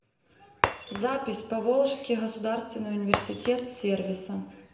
запись поволжский государственный университет сервиса